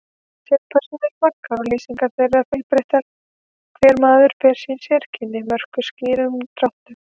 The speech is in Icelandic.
Sögupersónur eru margar og lýsingar þeirra fjölbreyttar, hver maður ber sín sérkenni, mörkuð skýrum dráttum.